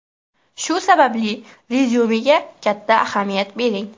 Shu sababli rezyumega katta ahamiyat bering.